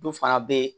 Dɔ fana bɛ yen